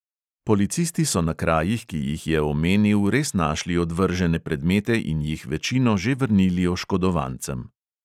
Policisti so na krajih, ki jih je omenil, res našli odvržene predmete in jih večino že vrnili oškodovancem.